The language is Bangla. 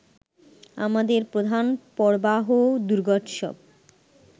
আমাদের প্রধান পর্বাহ দুর্গোৎসব